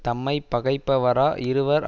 தம்மை பகைப்பவரா இருவர்